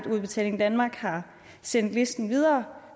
udbetaling danmark har sendt listen videre